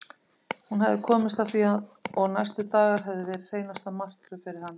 Hún hafði komist að því og næstu dagar höfðu verið hreinasta martröð fyrir hann.